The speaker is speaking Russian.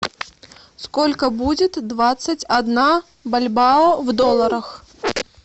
сколько будет двадцать одна бальбоа в долларах